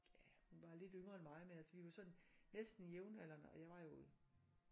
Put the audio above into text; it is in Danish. Ja hun var lidt yngre end mig men altså vi var sådan næsten jævnaldrende og jeg var jo